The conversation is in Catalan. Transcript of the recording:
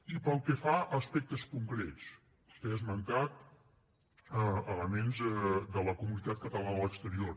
i pel que fa a aspectes concrets vostè ha esmentat elements de la comunitat catalana a l’exterior